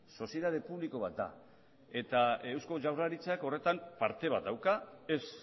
sozietate publiko bat da eta eusko jaurlaritzak horretan parte bat dauka ez